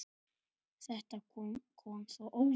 Þetta kom svo óvænt.